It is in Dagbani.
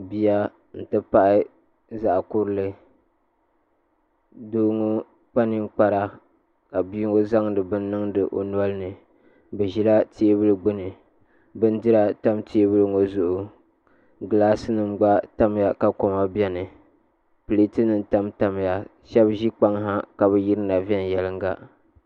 Bia n ti pahi zaɣ kurili doo ŋo kpa ninkpara ka bia ŋo zaŋdi bini n niŋdi o nolini bi ʒila teebuli gbuni bindira tam teebuli ŋo zuɣu gilaas nim gba tamya ka koma biɛni pileet nim gba tamya shab ʒi kpaŋ ha ka bi yirina viɛnyɛla